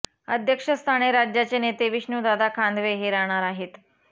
अध्यक्षस्थानी राज्याचे नेते विष्णू दादा खांदवे हे राहणार आहेत